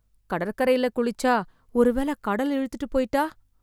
கடற்கரையில குளிச்சா ஒருவேள கடல் இழுத்துட்டு போயிட்டா?